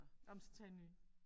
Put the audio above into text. Ej men så tag en ny